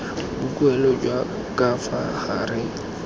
boikuelo jwa ka fa gare